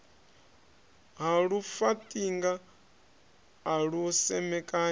ha lufaṱinga a lu semekanya